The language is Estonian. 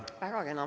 Väga kena.